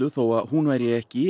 þó að hún væri ekki